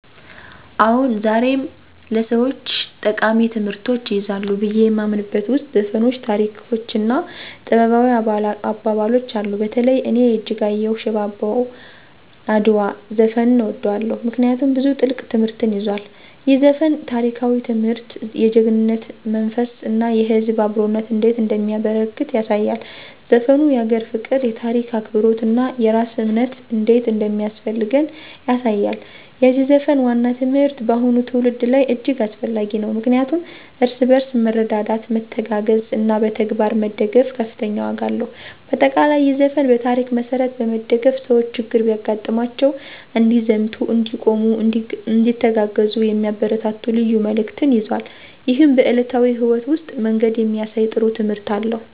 አዎን፣ ዛሬም ለሰወች ጠቃሚ ትምህርቶችን ይይዛሉ ብዬ የማምንበት ውስጥ ዘፈኖች፣ ታሪኮች እና ጥበባዊ አባባሎች አሉ። በተለይ እኔ የእጅጋየሁ “ሽባባው አድዋ” ዘፈንን እወደዋለሁ፤ ምክንያቱም ብዙ ጥልቅ ትምህርትን ይዟል። ይህ ዘፈን ታሪካዊ ትምህርት፣ የጀግናነት መንፈስ እና የህዝብ አብሮነት እንዴት እንደሚያበረከት ያሳያል። ዘፈኑ የአገር ፍቅር፣ የታሪክ አክብሮት እና የራስ እምነት እንዴት እንደሚያስፈልገን ያሳያል። የዚህ ዘፈን ዋና ትምህርት በአሁኑ ትውልድ ላይ እጅግ አስፈላጊ ነው፣ ምክንያቱም እርስ በርስ መረዳዳት፣ መተጋገዝ እና በተግባር መደገፍ ከፍተኛ ዋጋ አለው። በአጠቃላይ፣ ይህ ዘፈን በታሪክ መሠረት በመደገፍ ሰዎች ችግር ቢያጋጥማቸው እንዲዘምቱ፣ እንዲቆሙ፣ እንዲተጋገዙ የሚያበረታታ ልዩ መልዕክትን ይዟል። ይህም በዕለታዊ ሕይወት ውስጥ መንገድ የሚያሳይ ጥሩ ትምህርት አለው።